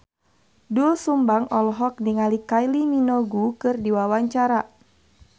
Doel Sumbang olohok ningali Kylie Minogue keur diwawancara